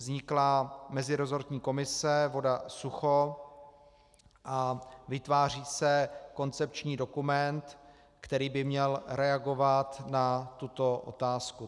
Vznikla meziresortní komise Voda-Sucho a vytváří se koncepční dokument, který by měl reagovat na tuto otázku.